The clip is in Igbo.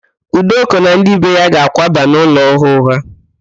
Udoka na ndị be ya ga-akwaba n'ụlọ ọhụụ ha.